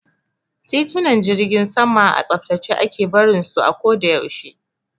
Titunan jirgin sama a tsaftace ake barin su a ko da yaushe.